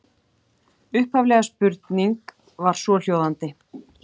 Upphafleg spurning var svohljóðandi: